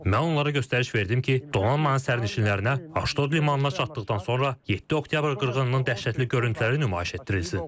Mən onlara göstəriş verdim ki, donanmanın sərnişinlərinə Aşdod limanına çatdıqdan sonra 7 oktyabr qırğınının dəhşətli görüntüləri nümayiş etdirilsin.